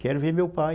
Quero ver meu pai.